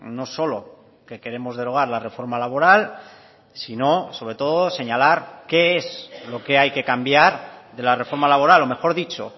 no solo que queremos derogar la reforma laboral sino sobre todo señalar qué es lo que hay que cambiar de la reforma laboral o mejor dicho